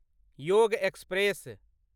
योग एक्सप्रेस